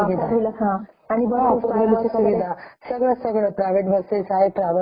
आणखी जस तुम्ही माझ्या माहिती प्रमाणे तुम्ही नागपूर ला राहता ओके .